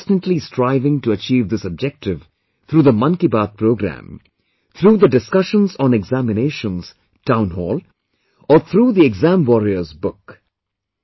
We have been constantly striving to achieve this objective through the Man ki baat program, through the "Discussions on Examinations" Townhall or through the Exam Warriors book